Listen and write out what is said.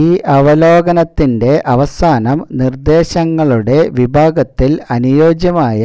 ഈ അവലോകനത്തിന്റെ അവസാനം നിർദ്ദേശങ്ങളുടെ വിഭാഗത്തിൽ അനുയോജ്യമായ